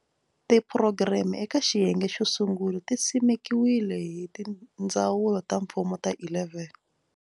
Tiphurogireme eka xiyenge xo sungula ti simekiwile hi tindzawulo ta mfumo ta 11.